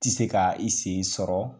Ti se ka i sen sɔrɔ